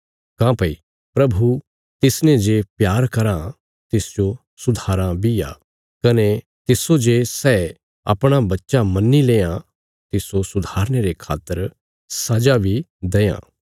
काँह्भई प्रभु तिसने जे प्यार कराँ तिसजो सुधाराँ बी आ कने तिस्सो जे सै अपणा बच्चा मन्नी लेआं तिस्सो सुधारने रे खातर सजा बी देआं